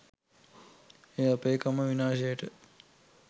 එය අපේකම විනාශයට